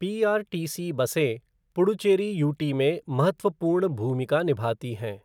PRTC बसें Puducherry UT में महत्वपूर्ण भूमिका निभाती हैं।